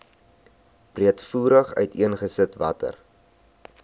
breedvoerig uiteengesit watter